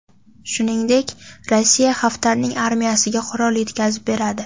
Shuningdek, Rossiya Xaftarning armiyasiga qurol yetkazib beradi.